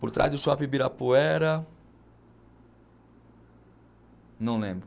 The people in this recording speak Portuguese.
Por trás do Shopping Ibirapuera... Não lembro.